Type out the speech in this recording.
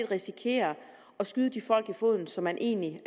risikere at skyde de folk i foden som man egentlig